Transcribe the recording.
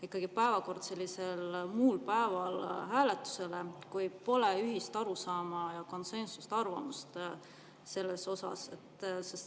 – panna päevakord hääletusele muul päeval, kui pole ühist arusaama ja konsensusarvamust selles.